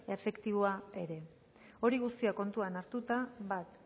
efektiboa ere hori guztia kontuan hartuta bat